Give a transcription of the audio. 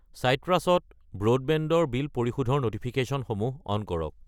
চাইট্ৰাছ ত ব্ৰডবেণ্ড ৰ বিল পৰিশোধৰ ন'টিফিকেশ্যনসমূহ অন কৰক।